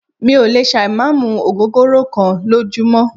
Mí ò lè ṣà ì má mú ògógóró kán lójúmọ́.